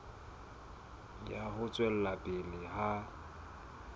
ya ho tswela pele ha